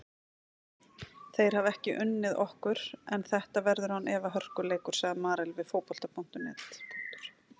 Þeir hafa ekki unnið okkur en þetta verður án efa hörkuleikur, sagði Marel við Fótbolta.net.